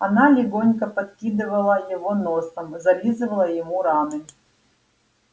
она легонько подкидывала его носом зализывала ему раны